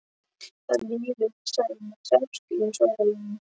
Það líður senn að hreppskilum, svaraði Jón.